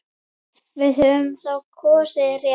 Við höfum þá kosið rétt.